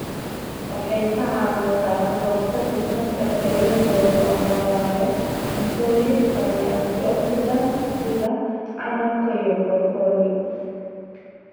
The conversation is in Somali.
Waxay ka caawisaa ka hortagga kansarka iyada oo loo marayo cuntooyinka leh antioxidants sida canabka iyo brokoli.